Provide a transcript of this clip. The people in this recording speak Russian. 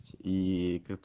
ии